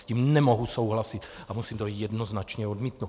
S tím nemohu souhlasit a musím to jednoznačně odmítnout!